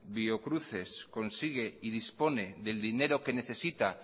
biocruces consigue y dispone del dinero que necesita